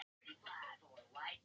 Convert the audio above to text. Þessar konur öxluðu þungar klyfjar.